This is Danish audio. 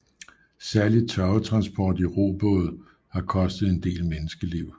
Særlig tørvetransport i robåde har kostet en del menneskeliv